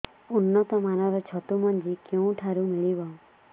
ଉନ୍ନତ ମାନର ଛତୁ ମଞ୍ଜି କେଉଁ ଠାରୁ ମିଳିବ